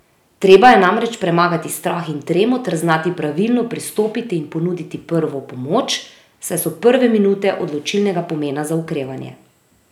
Treba je namreč premagati strah in tremo ter znati pravilno pristopiti in ponuditi prvo pomoč, saj so prve minute odločilnega pomena za okrevanje.